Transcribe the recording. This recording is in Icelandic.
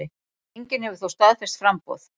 Enginn hefur þó staðfest framboð.